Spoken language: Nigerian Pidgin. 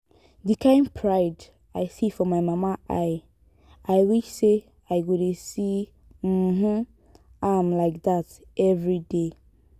the kyn pride i see for my mama eye i wish say i go dey see um am like dat everyday